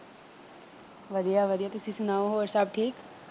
ਵਧੀਆ ਵਧੀਆਂ ਤੁਸੀਂ ਸੁਣਾਓ ਹੋਰ ਘਰ ਸਭ ਠੀਕ।